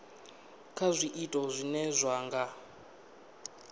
kha zwiito zwine zwa nga